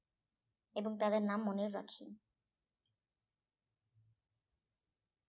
এবং তাদের নাম মনেও রাখি